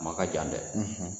ma ka jan dɛ.